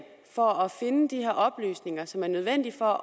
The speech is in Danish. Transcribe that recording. for at finde de her oplysninger som er nødvendige for at